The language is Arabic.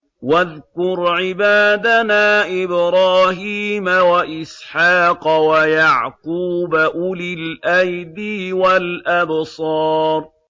وَاذْكُرْ عِبَادَنَا إِبْرَاهِيمَ وَإِسْحَاقَ وَيَعْقُوبَ أُولِي الْأَيْدِي وَالْأَبْصَارِ